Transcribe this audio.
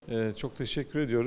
Çox təşəkkür edirəm.